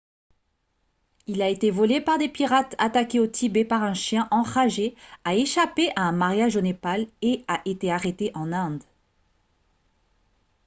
il a été volé par des pirates attaqué au tibet par un chien enragé a échappé à un mariage au népal et a été arrêté en inde